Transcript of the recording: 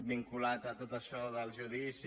vinculat tot això del judici